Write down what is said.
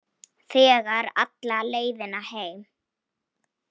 Þegir alla leiðina heim.